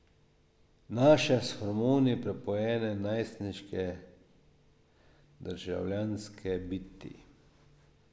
Naše, s hormoni prepojene najstniške državljanske biti.